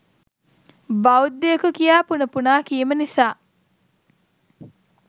‘බෞධයකු’ යයි පුන පුනා කීම නිසා